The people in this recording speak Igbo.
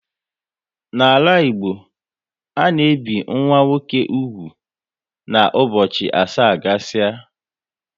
N'ala Igbo ana ebi nwa nwoke úgwù na ụbọchị asaa gasia